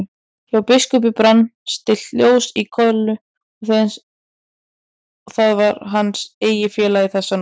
Hjá biskupi brann stillt ljós í kolu, það var hans eini félagi þessa nótt.